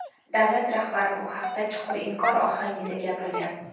davlat rahbari bu haqda chuqur inkor ohangida gapirgan.